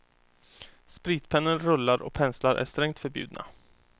Spritpennor, rullar och penslar är strängt förbjudna.